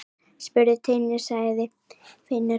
Spurðu Tinnu, sagði Finnur.